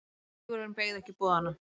Sigurvin beið ekki boðanna.